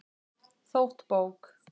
Þótt bók